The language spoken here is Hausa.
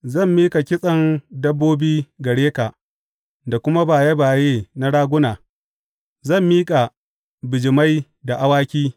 Zan miƙa kitsen dabbobi gare ka da kuma baye baye na raguna; zan miƙa bijimai da awaki.